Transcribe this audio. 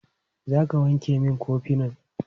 Za ka wanke min kofinan?